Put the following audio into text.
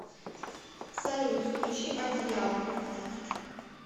салют включи одеяло